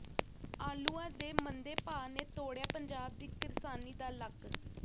ਆਲੂਆਂ ਦੇ ਮੰਦੇ ਭਾਅ ਨੇ ਤੋੜਿਆ ਪੰਜਾਬ ਦੀ ਕਿਰਸਾਨੀ ਦਾ ਲੱਕ